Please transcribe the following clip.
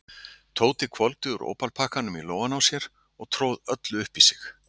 Tóti hvolfdi úr ópalpakkanum í lófann á sér og tróð öllu upp í sig.